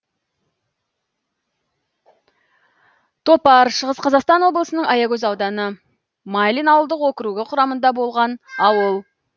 топар шығыс қазақстан облысының аягөз ауданы майлин ауылдық округі құрамында болған ауыл